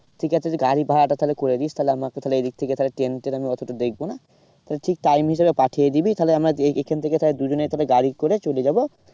ঠিক আছে তুই গাড়ি ভাড়াটা তাহলে করে দিস তাহলে আমাকে তাহলে এদিক থেকে তাহলে ট্রেন আমি অতটা দেখবো না। তাহলে ঠিক time হিসাবে পাঠিয়ে দিবি তাহলে আমার এখান থেকে তাহলে দুজনে তাহলে গাড়ি করে চলে যাবো।